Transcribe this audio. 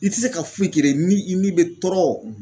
I tɛ se ka foyi kɛ ni i ni bɛ tɔɔrɔ